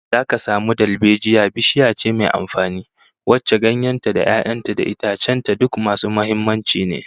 Zaka samu dalbejiya bishiya ce mai amfani, wacce ganyen ta da 'ya'yan ta da itacen ta duk masu muhimmanci ne